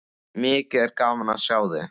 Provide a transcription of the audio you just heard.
Mikið er gaman að sjá þig.